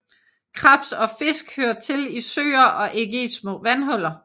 Krebs og fisk hører til i søer og ikke i små vandhuller